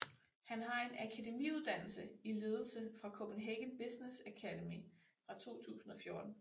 Han har en akademiuddannelse i ledelse fra Copenhagen Business Academy fra 2014